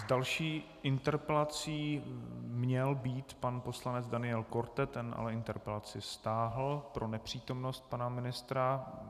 S další interpelací měl být pan poslanec Daniel Korte, ten ale interpelaci stáhl pro nepřítomnost pana ministra.